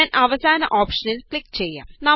ഞാന് അവസാന ഓപ്ഷനില് ക്ലിക് ചെയ്യാം